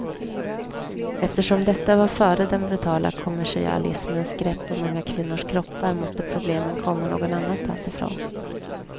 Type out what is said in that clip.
Eftersom detta var före den brutala kommersialismens grepp om unga kvinnors kroppar måste problemen komma någon annanstans ifrån.